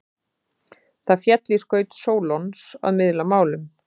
Það féll í skaut Sólons að miðla málum.